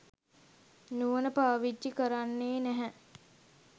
නුවණ පාවිච්චි කරන්නේ නැහැ.